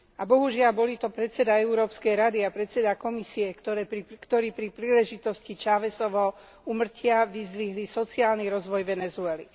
Bohužiaľ, boli to predseda Európskej rady a predseda Komisie, ktorí pri príležitosti Chávezovho úmrtia vyzdvihli sociálny rozvoj Venezuely.